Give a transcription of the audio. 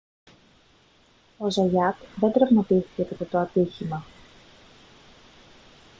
ο ζαγιάτ δεν τραυματίστηκε κατά το ατύχημα